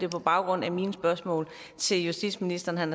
på baggrund af mine spørgsmål til justitsministeren